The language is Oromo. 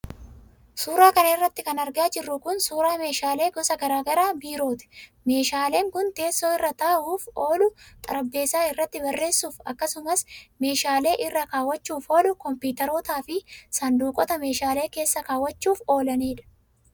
Suura kana irratti kan argaa jirru kun, suura meeshaalee gosa garaa garaa biirooti. Meeshaaleen kun Teessoo irra taa'uuf oolu, xarapheezaa irratti barreessuuf akkasumas meeshaalee irra kaawwachuuf oolu, kompiitarootaa fi saanduqoota meeshaalee keessa kaawwachuuf oolaniidha.